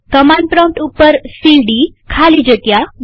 command prompt ઉપર CD ખાલી જગ્યા